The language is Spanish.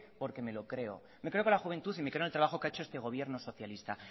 porque me lo creo me creo que la juventud y me creo en el trabajo que ha hecho este gobierno socialista